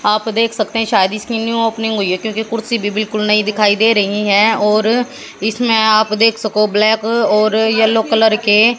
आप देख सकते हैं शायद इसकी न्यू ओपनिंग हुई है क्योंकि कुर्सी भी बिल्कुल नई दिखाई दे रही हैं और इसमें आप देख सको ब्लैक और येलो कलर के--